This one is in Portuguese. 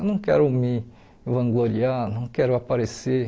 Eu não quero me vangloriar, não quero aparecer.